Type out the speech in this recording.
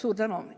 Suur tänu!